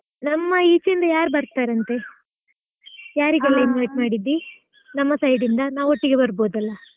ನಮ್ಮ ಈಚೆ ಇಂದಾ ಯಾರು ಬರ್ತಾರಂತೆ ? ಆ ಯಾರಿಗೆಲ್ಲ invite ಮಾಡಿದ್ದಿ ನಮ್ಮ side ಇಂದಾ, ನಾವು ಒಟ್ಟಿಗೆ ಬರ್ಬೋದು ಅಲ್ಲಾ.